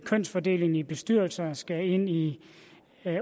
kønsfordelingen i bestyrelser skal ind i